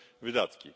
wydatki.